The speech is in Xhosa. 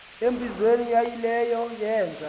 embizweni yaayileyo yeenza